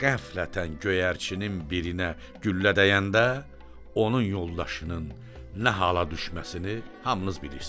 Qəflətən göyərçinin birinə güllə dəyəndə onun yoldaşının nə hala düşməsini hamınız bilirsiniz.